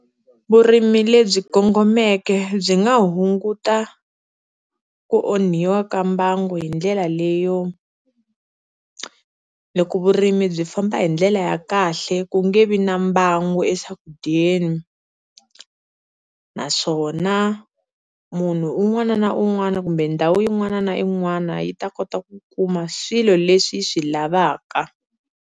Vurimi lebyi kongomeke byi nga hunguta ku onhiwa ka mbango hi ndlela leyo, loko vurimi byi famba hi ndlela ya kahle ku nge vi na mbangu eswakudyeni naswona munhu un'wana na un'wana kumbe ndhawu yin'wana na yin'wana yi ta kota ku kuma swilo leswi yi swi lavaka.